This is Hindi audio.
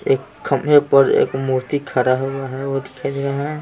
एक खंभे पर एक है मूर्ति खड़ा हुआ है वो दिखाई दे रहा है।